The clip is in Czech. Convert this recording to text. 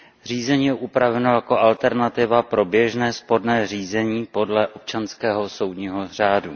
Řízení je upraveno jako alternativa pro běžné sporné řízení podle občanského soudního řádu.